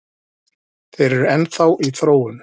Þeir eru enn þá í þróun